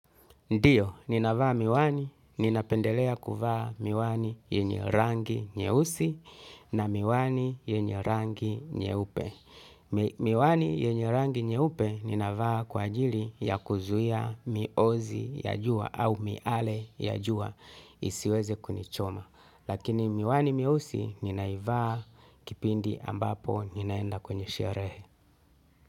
Ndiyo, ninavaa miwani, ninapendelea kuvaa miwani yenye rangi nyeusi na miwani yenye rangi nyeupe. Miwani yenye rangi nyeupe ninavaa kwa ajili ya kuzuia miozi ya jua au miale ya jua isiweze kunichoma. Lakini miwani mieusi, ninaivaa kipindi ambapo ninaenda kwenye sherehe.